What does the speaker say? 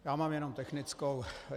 Já mám jenom technickou.